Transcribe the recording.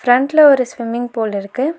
ஃப்ரெண்ட்ல ஒரு swimming pool இருக்கு.